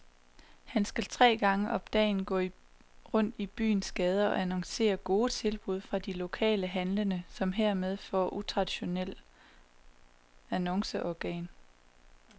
Han skal tre gange om dagen gå rundt i byens gader og annoncere gode tilbud fra de lokale handlende, som hermed får et utraditionelt annonceorgan.